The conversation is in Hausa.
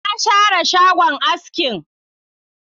Na share shagon askin